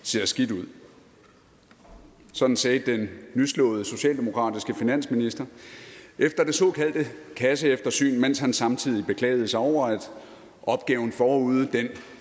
ser skidt ud sådan sagde den nyslåede socialdemokratiske finansminister efter det såkaldte kasseeftersyn mens han samtidig beklagede sig over at opgaven forude